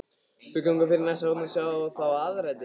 Þau ganga fyrir næsta horn og sjá þá aðrar dyr.